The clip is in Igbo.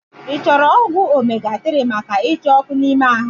I chọrọ ọgwụ omega 3 maka icha ọkụ ime ahụ?